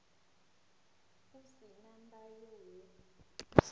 u si na ndayo hu